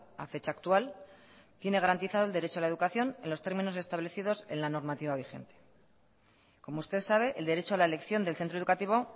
a fecha actual tiene garantizado el derecho a la educación en los términos establecidos en la normativa vigente como usted sabe el derecho a la elección del centro educativo